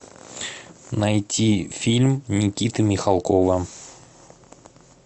найти фильм никиты михалкова